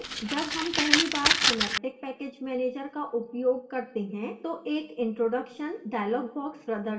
जब हम पहली बार synaptic package manager का उपयोग करते हैं तो एक introduction dialog box प्रदर्शित होता है